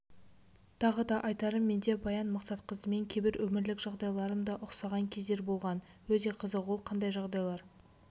тағы да айтарым менде баян мақсатқызымен кейбір өмірлік жағдайларым да ұқсаған кездер болған өте қызық ол қандайжағдайлар